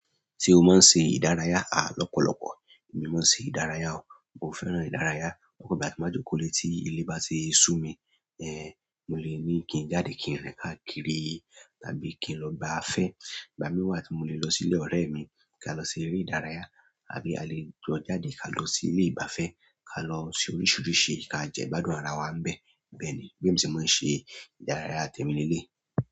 Ṣé o máa ń se ìdárayá à lọ́pọ̀lọpọ̀. Èmi máa ń ṣe ìdárayá o. Mo fẹ́ràn ìdárayá. Ọ̀pọ̀ ìgbà tí n bá jókòó lé tí ilé bá ti sú mi, ẹ, mo lè ní kí n jáde kí n rìn káàkiri tàbí kí n lọ gba afẹ́. Ìgbà míì wà tí mo le lọ sí ilé ọ̀rẹ́ ẹ̀ mi kí a lọ ṣe eré ìdárayá àbí alẹ́ jọ jáde ká lọ sí ilé ìgbáfẹ́ ká lọ ṣe oríṣiríṣi ká jẹ ìgbádùn ara wa ń bẹ̀. Bẹ́ẹ̀ ni. Bí èmi ṣe máa ń ṣe ìdárayá tèmi leléyìí.